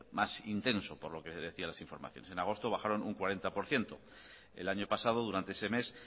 más intenso por lo que decían las informaciones en agosto bajaron un cuarenta por ciento el año pasado durante ese mes